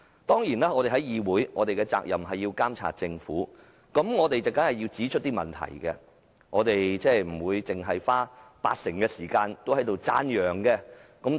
當然，我們在議會的責任是監察政府，指出問題，不會花八成時間讚揚政府。